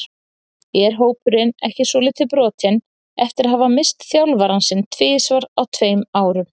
Er hópurinn ekki svolítið brotinn eftir að hafa misst þjálfarann sinn tvisvar á tveimur árum?